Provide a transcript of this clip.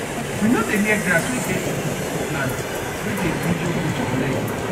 we nor dey near grass wey get chuku chuku plant wey dey injure goat leg